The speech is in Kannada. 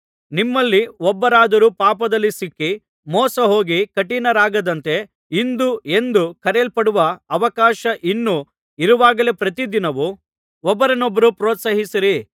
ನಿಮ್ಮಲ್ಲಿ ಒಬ್ಬರಾದರೂ ಪಾಪದಲ್ಲಿ ಸಿಕ್ಕಿ ಮೋಸಹೋಗಿ ಕಠಿಣರಾಗದಂತೆ ಇಂದು ಎಂದು ಕರೆಯಲ್ಪಡುವ ಅವಕಾಶ ಇನ್ನೂ ಇರುವಾಗಲೇ ಪ್ರತಿದಿನವೂ ಒಬ್ಬರನ್ನೊಬ್ಬರು ಪ್ರೋತ್ಸಾಹಿಸಿರಿ